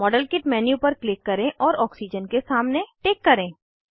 model kit menu पर click करें और ऑक्सीजन के सामने टिक करें